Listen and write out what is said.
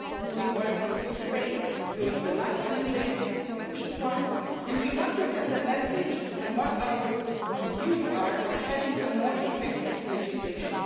We worked in good faith during the last mandate and this one, and would hope to be sending a message on our views on having more effective legislation.